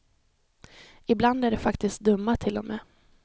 Ibland är de faktiskt dumma, till och med.